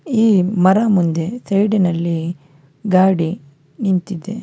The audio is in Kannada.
ಈ ಮರ ಮುಂದೆ ಸೈಡಿನಲ್ಲಿ ಗಾಡಿ ನಿಂತಿದೆ.